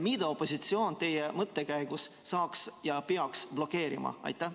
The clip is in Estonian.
Mida opositsioon teie mõttekäigu järgi saaks blokeerida ja peaks blokeerima?